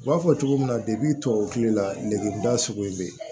U b'a fɔ cogo min na depi tubabu kule lakida sugu in bɛ yen